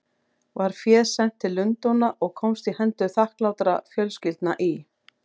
Var féð sent til Lundúna og komst í hendur þakklátra fjölskyldna í